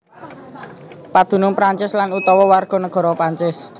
Padunung Prancis lan utawa warganegara Prancis